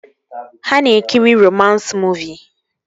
Ha na-ekiri romans muuvi